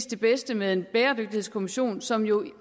det bedste med en bæredygtighedskommission som jo